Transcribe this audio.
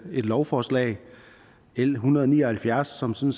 lovforslag l en hundrede og ni og halvfjerds som som